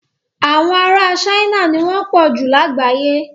Àwọn ará China ni wọ́n pọ̀jù lágbàyé.